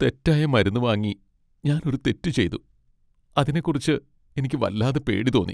തെറ്റായ മരുന്ന് വാങ്ങി ഞാൻ ഒരു തെറ്റ് ചെയ്തു, അതിനെക്കുറിച്ച് എനിക്ക് വല്ലാതെ പേടി തോന്നി .